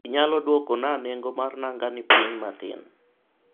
inyalo dwoko na nengo mar nangani piny matin?